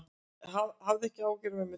Hafðu ekki áhyggjur af mömmu þinni.